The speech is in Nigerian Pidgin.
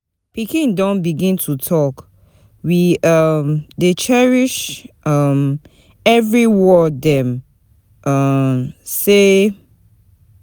Pikin don begin to talk, we um dey cherish um every word dem um say.